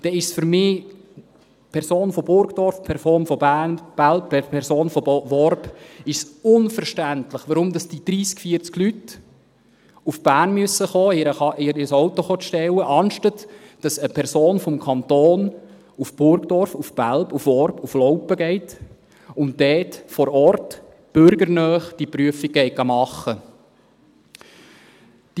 Dann ist es für mich unverständlich – eine Person von Burgdorf, eine Person von Belp, eine Person von Worb –, unverständlich, warum diese 30, 40 Leute nach Bern kommen müssen, um ihr Auto prüfen zu lassen, statt dass eine Person des Kantons nach Burgdorf, nach Belp, nach Worb, nach Laupen geht und dort vor Ort diese Prüfung bürgernah machen geht.